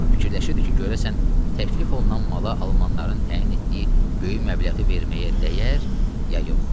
Fikirləşirdi ki, görəsən təklif olunan mala almanların təyin etdiyi böyük məbləği verməyə dəyər ya yox.